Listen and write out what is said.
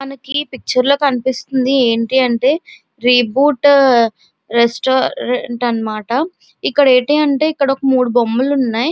మనకి ఈ పిక్చర్ లో కనిపిస్తుంది ఏంటి అంటే రీబూటు రెస్టా రెంట్ అన్నమాట. ఇక్కడ ఏంటి అంటే ఇక్కడ మూడు బొమ్మలు ఉన్నాయ్.